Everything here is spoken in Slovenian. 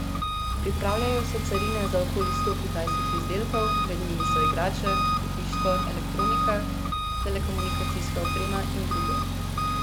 Pripravljajo se carine za okoli sto kitajskih izdelkov, med njimi so igrače, pohištvo, elektronika, telekomunikacijska oprema in drugo.